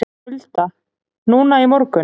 Hulda: Núna í morgun?